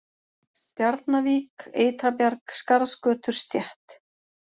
Stjarnavik, Ytrabjarg, Skarðsgötur, Stétt